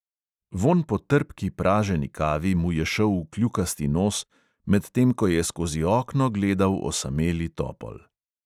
Vonj po trpki praženi kavi mu je šel v kljukasti nos, medtem ko je skozi okno gledal osameli topol.